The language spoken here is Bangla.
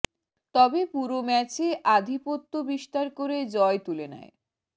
তবে পুরো ম্যাচে আধিপত্য বিস্তার করে জয় তুলে নেয়